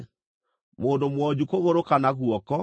mũndũ mwonju kũgũrũ kana guoko,